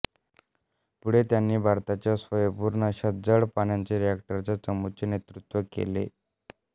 पुढे त्यांनी भारताच्या स्वयंपूर्ण अशा जड पाण्याच्या रिएक्टरच्या चमूचे नेतृत्व केले